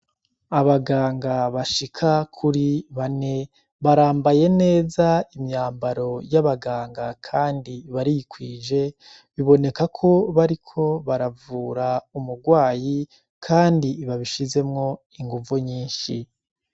Abaganga bashika kuri bane barambaye neza imyambaro y'abaganga kandi barikwije, biboneka ko bariko baravura umurwayi kandi babishizemwo inguvu nyinshi.